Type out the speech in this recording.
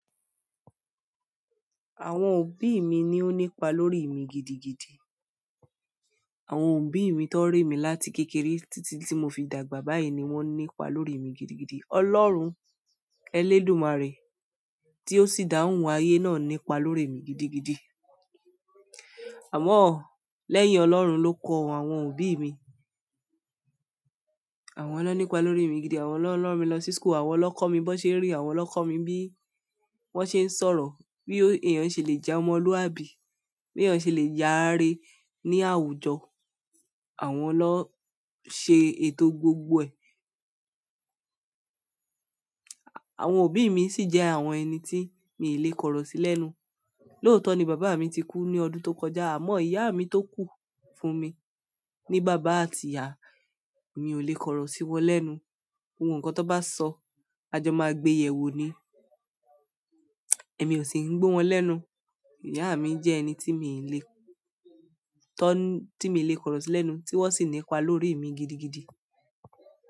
Àwọn òbí mi ni ó nípa lórí mi gidigidi. Àwọn òbí mi tó re mi láti kékeré títí tí mo fi dàgbà báyìí ni wón nípa lórí mi gidigidi. Ọlọ́run Elédùmarè tí ó sì dá ohun ayé náà nípa lórí mi gidigidi. Àmọ́ lẹ́yìn Ọlọ́run ló kọ àwọn òbí mi. Àwọn na nípa lórí mi gidi, àwọn lọ lọ rán mi lọ sí school, àwọn ló kọ́ mi bó ṣe rín, àwọn ló kọ́ mi bí wón ṣe ń sọ̀rọ̀, bí èèyàn ṣe lè jẹ́ ọmọlúàbí, bí èèyàn ṣe lè yaare ní àwùjọ. Àwọn ló ṣe ètò gbogbo ẹ̀. Àwọn òbí mi sì jẹ́ àwọn ẹni tí mi ì lè korò sí lẹ́nu. Lóòótọ́ ni bàbá mi ti kú ní ọdún tó kọjá, àmọ́ ìyá mi tó kù fún mi ní bàbá àti ìyá, mi ò lè korò sí wọ́n lẹ́nu. Gbogbo nkan tó bá sọ, àjọ máa gbéyè wò ó ni. Ẹ̀mí ò sì ń gbo wọn lẹ́nu. Ìyá mi jẹ́ ẹni tí mi lè tọ tí mi lè korò sí lẹ́nu tí wọ́n sì nípa lórí mi gidigidi.